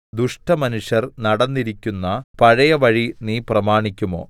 ദുഷ്ടമനുഷ്യർ നടന്നിരിക്കുന്ന പഴയ വഴി നീ പ്രമാണിക്കുമോ